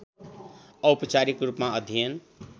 औपचारिक रूपमा अध्ययन